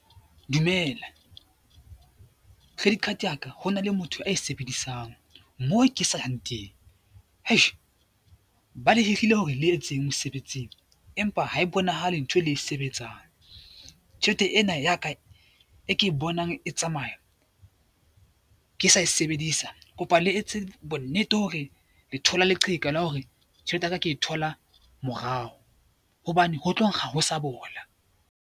Dumela, credit card ya ka hona le motho a sebedisang moo ke sa yang teng, eish! Ba le hirile hore le etseng mosebetsing empa ha e bonahale ntho e le e sebetsang. Tjhelete ena ya ka e ke e bonang e tsamaya ke sa e sebedisa kopa le etse bonnete hore le thole leqheka la hore tjhelete ya ka ke e thola morao hobane ho tlo nkga ho sa bola.